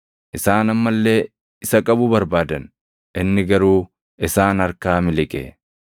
Isaan amma illee isa qabuu barbaadan; inni garuu isaan harkaa miliqe.